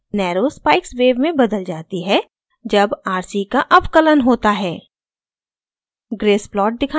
square wave narrow spikes wave में बदल जाती है जब rc का अवकलन होता है